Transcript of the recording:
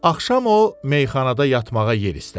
Axşam o meyxanada yatmağa yer istədi.